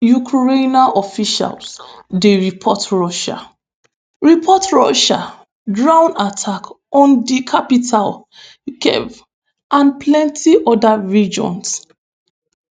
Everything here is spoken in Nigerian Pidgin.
ukrainian officials dey report russian report russian drone attacks on di capital kyiv and plenti oda regions.